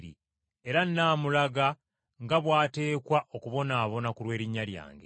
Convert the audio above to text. Era nnaamulaga nga bw’ateekwa okubonaabona ku lw’erinnya lyange.